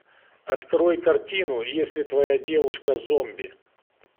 открой картину если твоя девушка зомби